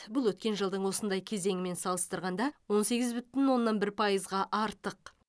бұл өткен жылдың осындай кезеңімен салыстырғанда он сегіз бүтін оннан бір пайызға артық